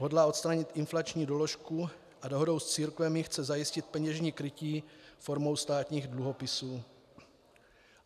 Hodlá odstranit inflační doložku a dohodou s církvemi chce zajistit peněžní krytí formou státních dluhopisů.